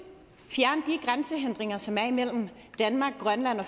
mener som er imellem danmark og grønland og